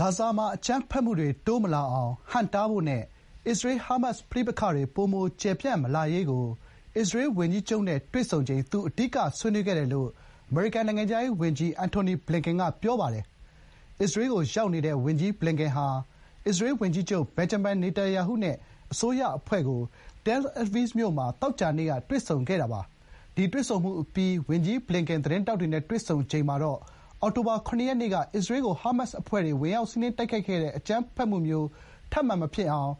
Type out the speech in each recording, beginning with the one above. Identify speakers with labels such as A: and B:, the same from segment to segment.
A: ဂါဇာမှာ အကြမ်းဖက်မှုတွေ တိုးမလာအောင် ဟန့်တားဖို့နဲ့ အစ္စရေး−ဟားမတ်စ် ပဋိပက္ခ ပိုမို ကျယ်ပြန့်မလာရေးကို အစ္စရေးဝန်ကြီးချုပ်နဲ့ တွေ့ဆုံချိန် သူ အဓိက ဆွေးနွေးခဲ့တယ်လို့ အမေရိကန် နိုင်ငံခြားရေးဝန်ကြီး Antony Blinken က ပြောပါတယ်။ အစ္စရေးကို ရောက်နေတဲ့ ဝန်ကြီးဘလင်ကန်ဟာ အစ္စရေး ဝန်ကြီးချုပ် Benjamin Netanyahu နဲ့ အစိုးရ အဖွဲ့ကို Tel Aviv မြို့မှာ သောကြာနေ့က တွေ့ဆုံခဲ့တာပါ။ ဒီတွေ့ဆုံမှုအပြီး ဝန်ကြီးဘလင်ကန် သတင်းထောက်တွေ နဲ့ တွေ့ဆုံချိန်မှာတော့ − အောက်တိုဘာ ၇ ရက်နေ့က အစ္စရေးကို ဟားမတ်စ် အဖွဲ့တွေ ဝင်ရောက် စီးနင်းတိုက်ခိုက်တဲ့ အကြမ်းဖက်မှုမျိုး ထပ်မံ မဖြစ်ပွား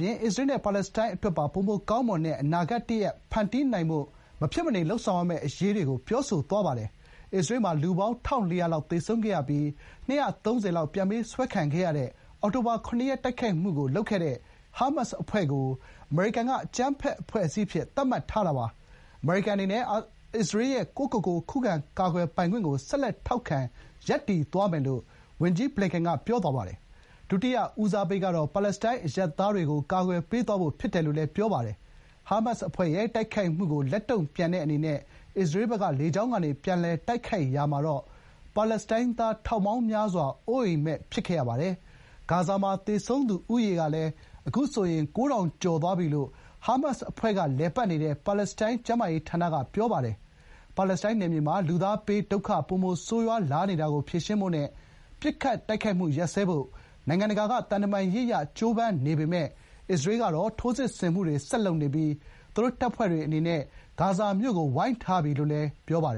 A: စေဖို့ နဲ့ အစ္စရေး အတွက်ရော ပါလက်စတိုင်း အတွက်ပါ ပိုမိုကောင်းမွန်တဲ့ အနာဂတ် တရပ် ဖန်တီးနိုင်ဖို့ မဖြစ်မနေ လုပ်ဆောင်ရမယ့်အရာတွေကို ပြောဆိုသွားပါတယ်။ အစ္စရေးမှာ လူပေါင်း ၁၄၀၀ လောက် သေဆုံးခဲ့ရပြီး ၂၃၀ ပြန်ပေးဆွဲခံခဲ့ရတဲ့ အောက်တိုဘာ ၇ ရက် တိုက်ခိုက်မှုကို လုပ်ခဲ့တဲ့ ဟားမတ်စ်အဖွဲ့ကိုတော့ အမေရိကန်က အကြမ်းဖက် အဖွဲ့အစည်းအဖြစ် သတ်မှတ်ထားတာပါ။ အမေရိကန်အနေနဲ့ အစ္စရေးရဲ့ ကိုယ့်ကိုယ်ကို ခုခံ ကာကွယ်ပိုင်ခွင့်ကို ဆက်လက် ထောက်ခံ ရပ်တည်သွားမယ်လို့ ဝန်ကြီး ဘလင်ကန်က ပြောဆိုသွားပါတယ်။ ဒုတိယ ဦးစားပေး ကတော့ ပါလက်စတိုင်း အရပ်သားတွေကို ကာကွယ်ပေးသွားဖို့ ဖြစ်တယ်လို့လည်း ပြောပါတယ်။ ဟားမတ်စ် အဖွဲ့ရဲ့ တိုက်ခိုက်မှုကို လက်တုံ့ပြန်တဲ့အနေနဲ့ အစ္စရေးဘက်က လေကြောင်းကနေ ပြန်လည် တိုက်ခိုက်ရာမှာတော့ ပါလက်စတိုင်းသား ထောင်ပေါင်းများစွာ အိုးအိမ်မဲ့ ဖြစ်ခဲ့ရပါတယ်။ ဂါဇာမှာ သေဆုံးသူ ဦးရေဟာ ခုဆိုရင် ၉၀၀၀ ကျော် သွားပြီလို့ ဟားမတ်စ်အဖွဲ့က လည်ပတ်နေတဲ့ ပါလက်စတိုင်း ကျန်းမာရေးဌာနက ပြောပါတယ်။ ပါလက်စတိုင်းနယ်မြေမှာ လူသားဘေးဒုက္ခ ပိုမို ဆိုးရွားလာနေတာကို ဖြေရှင်းဖို့နဲ့ ပစ်ခတ်တိုက်ခိုက်မှုတွေ ရပ်စဲဖို့ နိုင်ငံတကာက သံတမန်ရေး အရ ကြိုးပမ်းနေကြပေမဲ့လို့ အစ္စရေးကတော့ ထိုးစစ်ဆင်မှုတွေ ဆက်လုပ်နေပြီး သူတို့တပ်ဖွဲ့တွေအနေနဲ့ ဂါဇာမြို့ကို ဝိုင်းထားပြီလို့လည်း ပြောပါတယ်